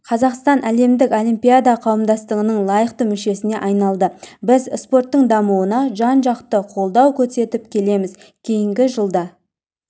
қазақстан әлемдік олимпиада қауымдастығының лайықты мүшесіне айналды біз спорттың дамуына жан-жақты қолдау көрсетіп келеміз кейінгі жылда